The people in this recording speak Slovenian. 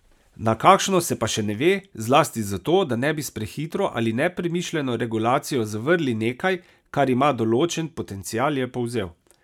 Na kakšno, se pa še ne ve, zlasti zato, da ne bi s prehitro ali nepremišljeno regulacijo zavrli nekaj, kar ima določen potencial, je povzel.